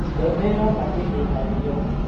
Mbembe yoma ndĩhĩhagio.